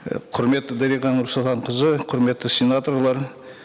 і құрметті дариға нұрсұлтанқызы құрметті сенаторлар